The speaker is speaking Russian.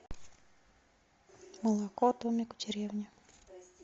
молоко домик в деревне